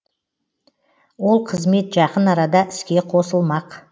ол қызмет жақын арада іске қосылмақ